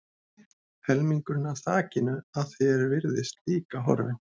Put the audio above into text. Helmingurinn af þakinu að því er virtist líka horfinn.